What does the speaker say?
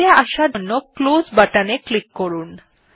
বাইরে আসার জন্য ক্লোজ বাটন এ ক্লিক করুন